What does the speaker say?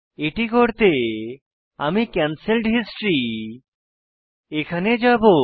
এটি করতে আমি ক্যান্সেলড হিস্টরি এখানে যাবো